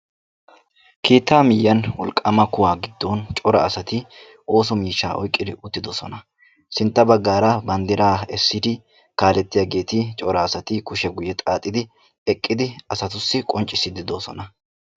keettaa miyiyan wolqaama kuwaa gidon cora asati oosso miishshaa oyqqidi uttiodosona. sintta bagaara bandiraa esiidi cora asati eqqidi asatussi qoncisiidi de'oosona.